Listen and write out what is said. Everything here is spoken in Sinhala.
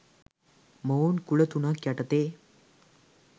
මොවුන් කුල තුනක් යටතේ